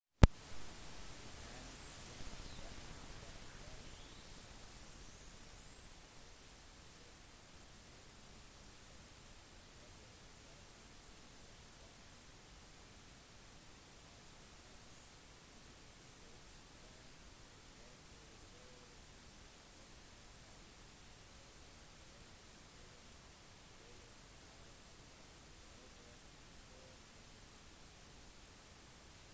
han gjennomførte den første bemannede ekstratakulære aktiviteten eva eller «romvandringen» den 18 mars 1965 ved å være igjen for seg selv utenfor romfartøyet i akkurat over 12 minutter